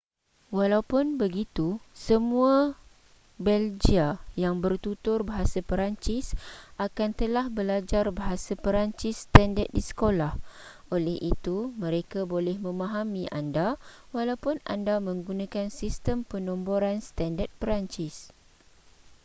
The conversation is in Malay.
walaupun begitu semua belgia yang bertutur bahasa perancis akan telah belajar bahasa peransis standard di sekolah oleh itu mereka boleh memahami anda walaupun anda menggunakan sistem penomboran standard perancis